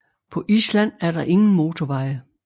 På Island er der ingen motorveje